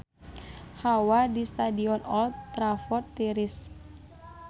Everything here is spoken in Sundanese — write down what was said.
Hawa di Stadion Old Trafford tiris